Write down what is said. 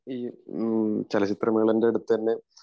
ഈ ചലച്ചിത്രമേളയുടെ അടുത്ത് തന്നെ